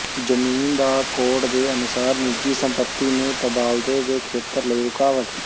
ਜ਼ਮੀਨ ਦਾ ਕੋਡ ਦੇ ਅਨੁਸਾਰ ਨਿੱਜੀ ਸੰਪਤੀ ਨੂੰ ਤਬਾਦਲੇ ਦੇ ਖੇਤਰ ਲਈ ਰੁਕਾਵਟ